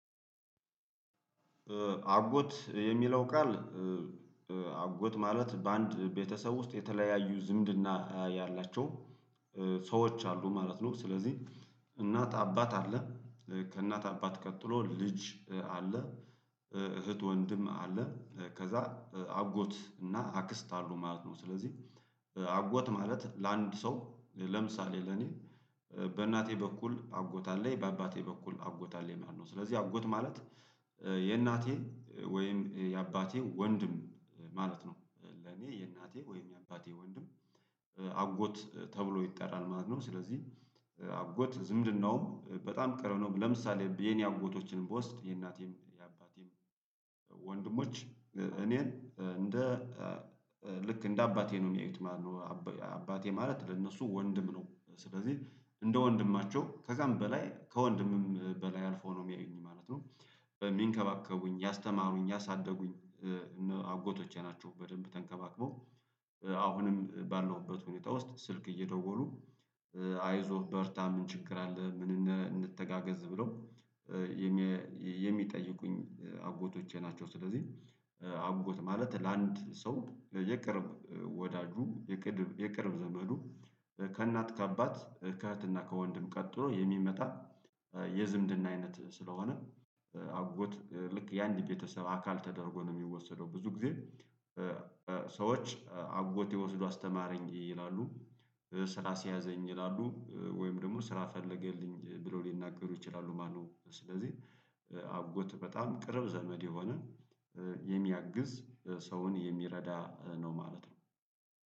አጎት የሚለው ቃል አጎት ማለት በአንድ ቤተሰብ ውስጥ የተለያዩ ዝምድና ያላቸው ሰዎች አሉ ማለት ነው። ስለዚህ እናት አባት አለ። ከእናት አባት ቀጥሎ ልጅ አለ። እህት ወንድም አለ ከዛ አጎት እና አክስት አሉ ማለት ነው። ስለዚህ አጎት ማለት ለአንድ ሰው ለምሳሌ ለኔ በእናቴ በኩል አጎት አለኝ በአባቴ በኩል አጎት አለኝ ማለት ነው። ስለዚህ አጎት ማለት የእናቴ ወይም የአባቴ ወንድም ማለት ነው። ለኔ የእናቴ ወይም የአባቴ ወንድም አጎት ተብሎ ይጠራል ማለት ነው። ስለዚህ አጎት ዝምድናውም በጣም ቅርብነውም ለምሳሌ የኔ አጎቶችንም በውስጥ የእናቴም የአባቴም ወንድሞች እኔን እንደ ልክ እንደ አባቴ ነው የሚያዩት ማለት ነው። አባቴ ማለት ለእነሱ ወንድም ነው ስለዚህ እንደ ወንድማቸው ከዛም በላይ ከወንድምም በላይ አልፎ ነው የሚያዩኝ ማለት ነው። በሚንከባከቡኝ ያስተማሩኝ ያሳደጉኝ አጎቶቼ ናቸው። በደንብ ተንከባክበው አሁንም ባለውበት ሁኔታ ውስጥ ስልክ እየደወሉ አይዞህ በርታም ምን ችግር አለ? ምን እንነ እንተጋገዝ ብለው የሜ የሚጠይቁኝ አጎቶቼ ናቸው። ስለዚህ አጎት ማለት ለአንድ ሰው የቅርብ ወዳጁ ቅድብ የቅርብ ዘመዱ ከእናት ከአባት ከእህትና ከወንድም ቀጥሎ የሚመጣ የዝምድና አይነት ስለሆነ። አጎት ልክ ያንድ ቤተሰብ አካል ተደርጎ ነው የሚወሰደው ብዙ ጊዜ። ሰዎች አጎቴ ወስዶ አስተማረኝ ይላሉ ስራ አስያዘኝ ይላሉ ወይም ደግሞ ስራ ፈለገልኝ ብሎ ሊናገሩ ይችላሉ ማለትነው። ስለዚህ አጎት በጣም ቅርብ ዘመድ የሆነ የሚያግዝ ሰውን የሚረዳ ነው ማለት ነው